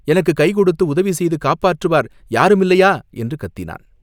எனக்குக் கைகொடுத்து உதவி செய்து காப்பாற்றுவார் யாரும் இல்லையா?" என்று கத்தினான்.